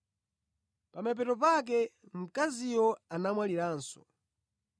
Pa mapeto pake mkaziyo anamwaliranso.